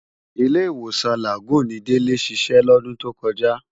Ilé-Iwósán Lágùn ni Dele siṣè lòdùn tókòjá